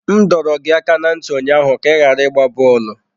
M dọrọ gị aka ná ntị ụnyaahụ ka ị ghara ịgba bọọlụ!